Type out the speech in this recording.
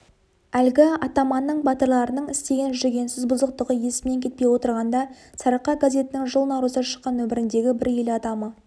әлгі атаманның батырларының істеген жүгенсіз бұзықтығы есімнен кетпей отырғанда сарыарқа газетінің жыл наурызда шыққан нөміріндегі бір ел адамы